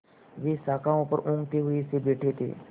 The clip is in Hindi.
वे शाखाओं पर ऊँघते हुए से बैठे थे